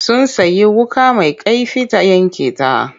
Sun sayi wuƙa mai kaifi ta yanke ta.